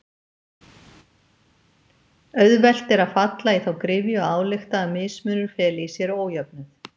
Auðvelt er að falla í þá gryfju að álykta að mismunur feli í sér ójöfnuð.